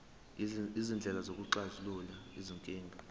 izindlela zokuxazulula izinkinga